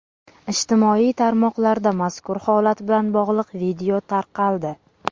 Ijtimoiy tarmoqlarda mazkur holat bilan bog‘liq video tarqaldi.